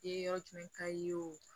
Ye yɔrɔ jumɛn ka di ye o